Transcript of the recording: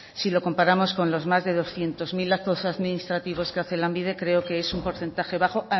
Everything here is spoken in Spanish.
si lo comparamos con los más de doscientos mil actos administrativos que hace lanbide creo que es un porcentaje bajo